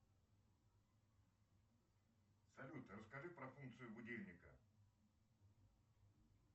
салют расскажи про функцию будильника